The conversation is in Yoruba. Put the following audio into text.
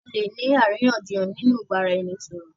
À lè ní àríyànjiyàn nínú ìbáraẹnisọ̀rọ̀.